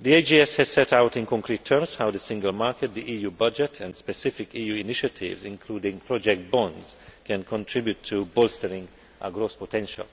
The AGS has set out in concrete terms how the Single Market, the EU budget and specific EU initiatives, including project bonds, can contribute to bolstering our growth potential.